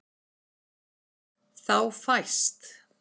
Þá fæst